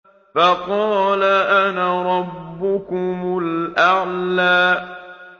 فَقَالَ أَنَا رَبُّكُمُ الْأَعْلَىٰ